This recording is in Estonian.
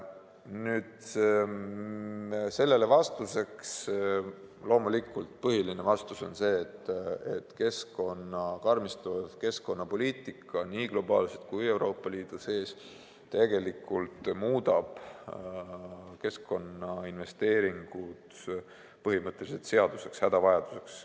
Sellele põhiliseks vastuseks on loomulikult see, et karmistuv keskkonnapoliitika nii globaalselt kui Euroopa Liidus muudab keskkonnainvesteeringud põhimõtteliselt seaduseks, hädavajaduseks.